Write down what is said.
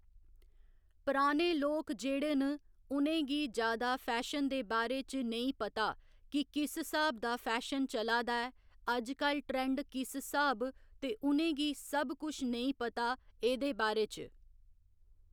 पराने लोक जेह्‌ड़े न उ'नेंगी जादा फैशन दे बारै च ने्ईं पता की किस स्हाब दा फैशन चला दा ऐ अजकल ट्रैंड किस स्हाब ते उ'नेंगी सब कुछ नेईं पता एह्दे बारै च